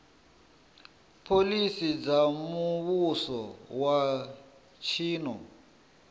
phoḽisi dza muvhuso wa tshino